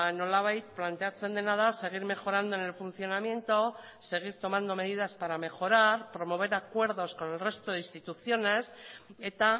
nolabait planteatzen dena da seguir mejorando en el funcionamiento seguir tomando medidas para mejorar promover acuerdos con el resto de instituciones eta